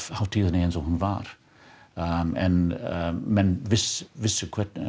hátíðinni eins og hún var en menn vissu vissu